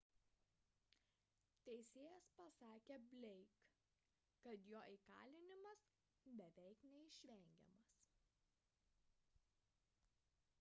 teisėjas pasakė blake kad jo įkalinimas beveik neišvengiamas